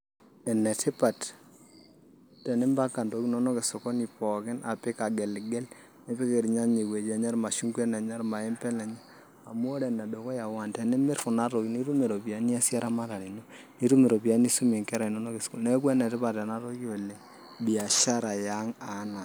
Enetipat tenimpanga intokitin inonok esokoni pooki apik ageligel nipik irnyanya ewuei enye irmashungwa ewuei enye, irmaembe enenye amu ore enedukuya tenimirr kuna tokitin nitum iropiyiani niasie eramatare ino nitum iropiyiani nisumie nkera inonok esukuul neeku enetipat ena toki oleng' biashara e ang'.